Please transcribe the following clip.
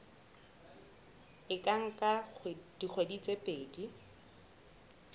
e ka nka dikgwedi tse